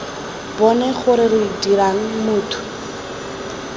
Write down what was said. bone gore re dirang motho